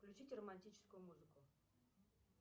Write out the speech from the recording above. включить романтическую музыку